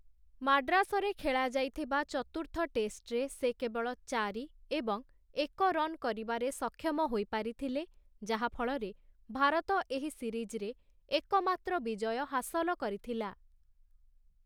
ମାଡ୍ରାସରେ ଖେଳାଯାଇଥିବା ଚତୁର୍ଥ ଟେଷ୍ଟରେ ସେ କେବଳ ଚାରି ଏବଂ ଏକ ରନ୍ କରିବାରେ ସକ୍ଷମ ହୋଇପାରିଥିଲେ, ଯାହାଫଳରେ ଭାରତ ଏହି ସିରିଜ୍‌ରେ ଏକମାତ୍ର ବିଜୟ ହାସଲ କରିଥିଲା ।